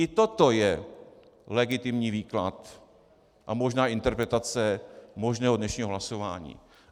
I toto je legitimní výklad a možná interpretace možného dnešního hlasování.